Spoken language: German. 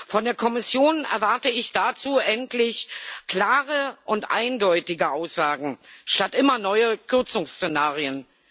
Von der Kommission erwarte ich dazu endlich klare und eindeutige Aussagen anstatt immer neuer Kürzungsszenarien.